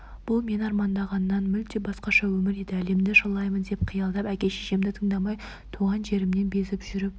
бұл мен армандағаннан мүлде басқаша өмір еді әлемді шарлаймын деп қиялдап әке-шешемді тыңдамай туған жерімнен безіп жүріп